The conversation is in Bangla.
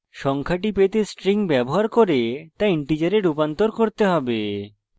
সংখ্যাটি পেতে string ব্যবহার করে to integer রূপান্তর করতে have